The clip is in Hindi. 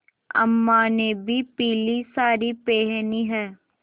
अम्मा ने भी पीली सारी पेहनी है